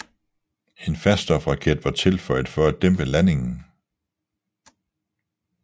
En faststofraket var tilføjet for at dæmpe landingen